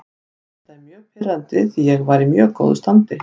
Þetta er mjög pirrandi því ég var í mjög góðu standi.